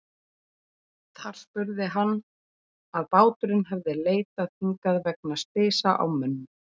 Þar spurði hann, að báturinn hefði leitað hingað vegna slysa á mönnum.